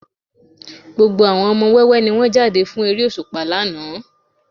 Gbogbo àwọn ọmọ wẹ́wẹ́ ni wọ́n jáde fún eré òṣùpá lánàá